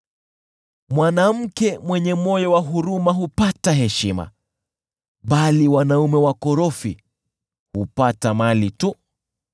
Mwanamke mwenye moyo wa huruma hupata heshima, bali wanaume wakorofi hupata mali tu.